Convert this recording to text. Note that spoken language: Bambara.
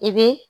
I bɛ